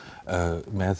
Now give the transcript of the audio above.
með